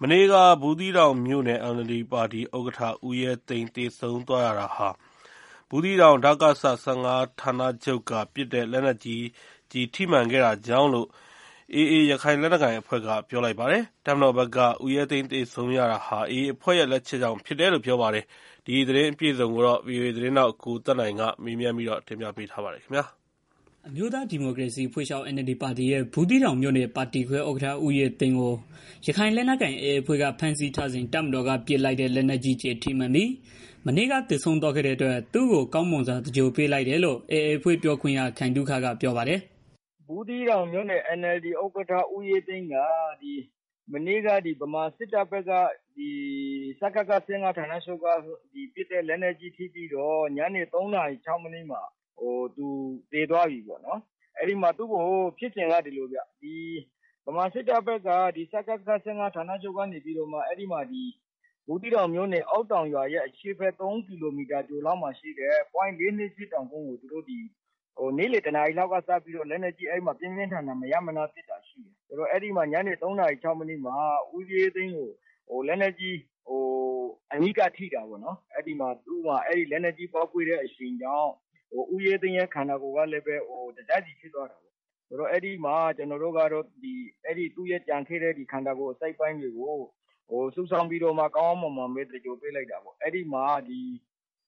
မနေ့က ဘူသီးတောင်မြို့နယ် NLD ပါတီ ဥက္ကဋ္ဌ ဦးရဲသိန်း သေဆုံးသွားရတာဟာ ဘူးသီးတောင် ဒကစ ၁၅ ဌာန ချုပ်က ပစ်တဲ့ လက်နက်ကြီး ကျည်ထိမှန်ခဲ့တာကြောင့်လို့ ရခိုင်လက်နက်ကိုင် AA အဖွဲ့က ပြောပါတယ်။ တပ်မတော်ဘက်ကတော့ ဦးရဲသိန်း သေဆုံးရတာဟာ AA အဖွဲ့ ရဲ့ လက်ချက်ကြောင့် ဖြစ်ကြောင်း ပြောပါတယ်။ ဒီသတင်းအပြည့်အစုံကို ဗွီအိုအေ သတင်းထောက် ကိုသက်နိုင်က မေးမြန်းတင်ပြထားပါတယ်။ အမျိုးသားဒီမိုကရေစီအဖွဲ့ချုပ် NLD ပါတီရဲ့ ဘူးသီးတောင်မြို့နယ် ပါတီခွဲ ဥက္ကဋ္ဌ ဦးရဲသိန်းကို ရခိုင်လက်နက် ကိုင် AA အဖွဲ့က ဖမ်းဆီးထားစဉ် တပ်မတော်က ပစ်လိုက်တဲ့ လက်နက်ကြီး ကျည်ထိမှန်ပြီး မနေ့က သေဆုံးသွားခဲ့တဲ့အတွက် သူတို့ ကောင်းမွန်စွာ သင်္ဂြ ိုလ်ပေးလိုက်တယ်လို့ AA အဖွဲ့ ပြောခွင့်ရ ခိုင်သုခက ပြောပါတယ်။ "ဘူးသီးတောင် NLD ဥက္ကဋ္ဌ ဦးရဲသိန်းက မနေ့က ဗမာစစ်တပ်ဘက်က ဒကစ ၁၅ ဌာနချုပ်က ပစ်တဲ့ လက်နက်ကြီး ကျည် ထိပြီးတော့ ညနေ ၃ နာရီလောက်မှာ သူသေသွားတယ်။ ဖြစ်စဉ်က ဒီလိုဗျာ ဗမာစစ်တပ်ဘက်က ဒကစ ၁၅ ဌာနချုပ်က ဘူးသီးတောင် မြို့နယ် အောက်တောင်ရွာရဲ့ အရှေ့ဘက် ၃ ကီလိုမီတာအကွာ ပွိုင့် ၄၂၈ တောင်ကုန်း ကို သူတို့ နေ့လည် တစ်နာရီလောက်က စပြီးတော့ လက်နက်ကြီး ပြင်းပြင်းထန်ထန် မရပ်မနား ပစ်တာရှိတယ်။ ညနေ ၆ နာရီလောက်မှာ ဦးရဲသိန်း ကို လက်နက်ကြီး အနီးကပ်ထိတာ ပေါ့နော်။ လက်နက်ကြီး အရှိန်ကြောင့် ဦးရဲသိန်းရဲ့ ခန္ဒာကိုယ်ကလည်း တစ်စစီဖြစ်သွားတယ်။ ကျနော်တို့ကတော့ သူရဲ့ ကျန်ခဲ့တဲ့ ခန္ဒကိုယ် အစိတ်အပိုင်းတွေကို စုဆောင်းပြီးတော့ ကောင်းကောင်းမွန်မွန် သင်္ဂြ ိုလ် ပေးလိုက်တာပေါ့။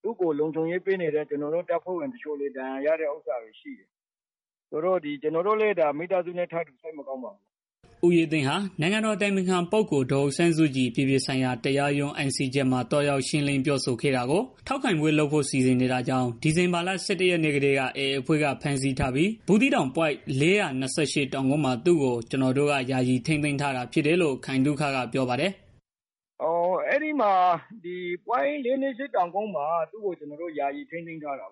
သူကို လုံခြုံရေးပေးနေတဲ့ ကျနော်တို့ တပ်ဖွဲ့ဝင် တချို့လည်း ဒဏ်ရာရတာ ရှိတယ်။ ကျနော်တို့လည်း မိသားစုနဲ့ ထပ်တူ စိတ်မကောင်း ဖြစ်ရပါတယ်။" ဦးရဲသိန်းဟာ နိုင်ငံတော် အတိုင်ပင်ခံပုဂ္ဂိုလ် ဒေါ်အောင်ဆန်းစုကြည် အပြည်ပြည်ဆိုင်ရာ တရားရုံး ICJ မှာ သွားရောက် ရှင်းလင်းပြောဆိုတာကို ထောက်ခံပွဲ လုပ်ဖို့ စီစဉ်နေတာကြောင့် ဒီဇင်ဘာလ ၁၁ ရက်နေ့ကတည်းက AA အဖွဲ့က ဖမ်းဆီးပြီး ဘူးသီးတောင် ပွိုင့် ၄၂၈ တောင်ကုန်းမှာ သူ့ကို ကျနော်တို့က ယာယီထိန်းသိမ်းထား တာဖြစ်တယ်လို့ ခိုင်သုခကပြောပါတယ်။ "ဘူးသီးတောင် ပွိုင့် ၄၂၈ တောင်ကုန်းမှာ သူ့ကို ကျနော်တို့က ယာယီထိန်းသိမ်းထားတာ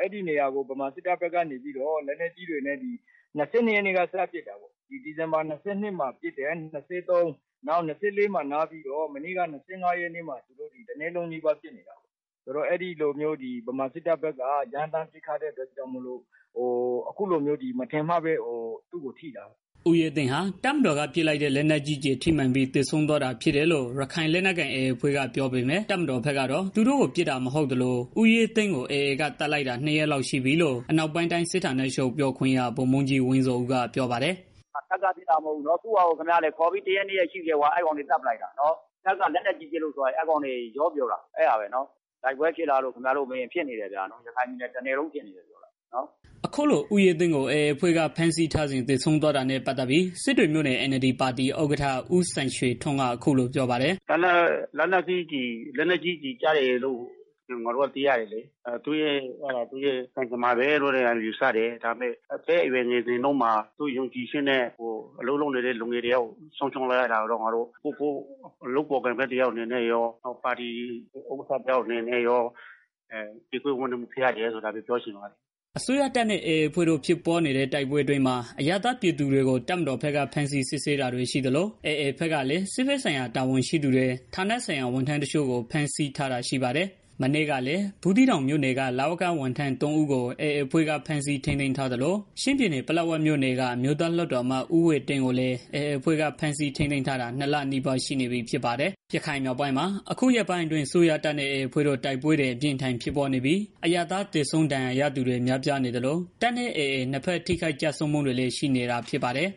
အဲဒီနေရာကို ဗမာစစ်တပ်ဘက်က နေပြီးတော့ လက်နက်ကြီးတွေနဲ့ ၂၂ရက်ကနေပြီးတော့ ပစ်တယ်။ ၂၃ ပစ်တယ်။ ၂၄ နားတယ်။ မနေ့က ၂၅ ရက်နေ့မှာ တနေ့လုံးနီးပါး ပစ်နေတယ်။ ဗမာစစ်တပ်ဘက်က ရမ်းသန်း ပစ်ခတ်တဲ့ အတွက် မထင်မှတ်ပဲ သူတို့ထိတာပေါ့နော်။" ဦးရဲသိန်းဟာ တပ်မတော်က ပစ်လိုက်တဲ့ လက်နက်ကြီးကျည် ထိမှန်ပြီး သေဆုံးသွားတာ ဖြစ်တယ်လို့ ရခိုက်လက်နက်ကိုင် AA အဖွဲ့က ပြောပေမဲ့ တပ်မတော်ဘက် ကတော့ သူတို့ပစ်တာ မဟုတ်သလို ဦးရဲသိန်းကို AA က သတ်လိုက်တာ နှစ်ရက်လောက် ရှိပြီလို့ အနောက်ပိုင်းတိုင်း စစ်ဌာနချုပ် ပြောခွင့်ရ ဗိုလ်မှူးကြီးဝင်းဇော်ဦးက ပြောပါတယ်။ "ဒါတပ်က ပစ်တာကြောင့် မဟုတ်ဘူး။ ခေါ်ပြီးတရက် နှစ်ရက်ရှိနေပြီ အဲအကောင်တွေ သတ်ပလိုက်တာ။ တပ်က လက်နက်ကြီး ပစ်လို့သေတယ်ဆိုတာ အဲအကောင်တွေ ရောပြောတာ။ တိုက်ပွဲဖြစ်လားဆိုတော့ ဖြစ်နေ တယ်ဗျာ။ ရခိုင် တပြည်နယ်လုံးဖြစ်နေတာ။" အခုလို ဦးရဲသိန်းကို AA အဖွဲ့က ဖမ်းဆီးထားစဉ် သေဆုံးသွားတာနဲ့ ပတ်သတ်ပြီး စစ်တွေမြို့နယ် NLD ပါတီ ဥက္ကဋ္ဌ ဦးစံရွှေထွန်းက အခုလိုပြောပါတယ်။ "လက်နက်ကြီး ကျည်ကျပြီးတော့ သေတယ်လို့ ငါတို့ က သိရတယ်လေ။ ဒါက သူ့ရဲ့ ကံကြမ္မာပဲလို့ ပြောရမယ်။ ဒါပေမဲ့ အသက်အရွယ် ငယ်စဉ်တုန်းမှာ သူ့ယုံကြည်ချက်နဲ့ အလုပ်လုပ်နေတဲ့ သူတစ်ယောက်ကို ဆုံးရှုံးလိုက်ရတာကတော့ ငါတို့ လုပ်ဖော်ကိုင်ဖက် တယောက်အနေနဲ့ရော ပါတီဥက္ကဋ္ဌ တစ်ယောက်အနေနဲ့ရော ကြေကွဲဝမ်းနည်းရပါတယ် ဒါပဲပြောချင်ပါတယ်။" အစိုးရတပ်နဲ့ AA အဖွဲ့တို့ ဖြစ်ပွားနေတဲ့ တိုက်ပွဲအတွင်းမှာ အရပ်သားပြည်သူတွေကို တပ်မတော်ဘက်က ဖမ်းဆီးစစ်ဆေးနေတာတွေ ရှိသလို AA ဘက်ကလည်း စစ်ဘက်ဆိုင်ရာ တာဝန်ရှိသူတွေ ဌာနဆိုင်ရာ ဝန်ထမ်းတချို့ကို ဖမ်းဆီးထားတာ ရှိပါတယ်။ မနေ့ကလည်း ဘူးသီးတောင်မြို့နယ်က လဝက ဝန်ထမ်း ၃ ဦးကို AA အဖွဲ့က ဖမ်းဆီးထိန်းသိမ်းထားသလို ချင်းပြည်နယ် ပလက်ဝမြို့နယ်က အမျိုးသား လွှတ်တော်အမတ် ဦးဝှေ့တင်းကိုလည်း AA အဖွဲ့က ဖမ်းဆီး ထိန်းသိမ်းထားတာ ၂ လနီးပါး ရှိနေပြီ ဖြစ်ပါတယ်။ ရခိုင်မြောက်ပိုင်းမှာ အခုရက်ပိုင်းအတွင်း အစိုးရတပ်နဲ့ AA အဖွဲ့တို့ တိုက်ပွဲတွေ အပြင်းအထန် ဖြစ်ပွားနေပြီး အရပ်သားသေဆုံး ဒဏ်ရာရသူတွေ များပြားနေသလို တပ်နဲ့ AA နှစ်ဘက် ထိခိုက်ဆုံးမှုတွေလည်း ရှိနေတာ ဖြစ်ပါတယ်။